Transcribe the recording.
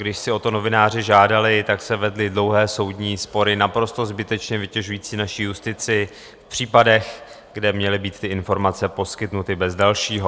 Když si o to novináři žádali, tak se vedly dlouhé soudní spory, naprosto zbytečně vytěžující naši justici v případech, kde měly být ty informace poskytnuty bez dalšího.